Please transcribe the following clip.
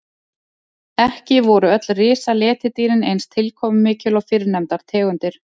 Ekki voru öll risaletidýrin eins tilkomumikil og fyrrnefndar tegundir.